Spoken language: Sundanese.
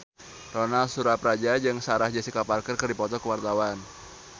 Ronal Surapradja jeung Sarah Jessica Parker keur dipoto ku wartawan